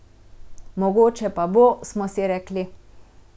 Mogoče pa bo, smo si rekli.